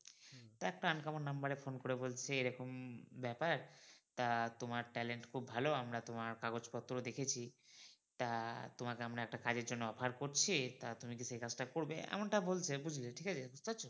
একটা uncommon number এ phone করে বলছে এরকম ব্যাপার তা তোমার talent খুব ভালো আমরা তোমার কাগজ পত্র দেখেছি তা তোমাকে একটা কাজের জন্য আমরা offer করছি তা তুমি কি সেই কাজটা করবে এমনটা বলছে বুঝলে ঠিক আছে।